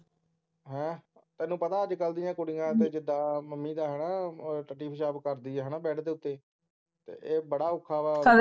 ਹੈਂ ਤੈਨੂੰ ਪਤਾ ਅੱਜ ਕੱਲ ਦੀ ਕੁੜੀਆਂ ਦਾ ਜਿੱਦਾਂ ਮੰਮੀ ਦਾ ਹੈ ਨਾ ਟੱਟੀ ਪਿਸ਼ਾਬ ਕਰਦੀ ਹੈ ਨਾ ਬੈੱਡ ਦੇ ਉੱਤੇ ਏ ਬੜਾ ਔਖਾ ਵਾ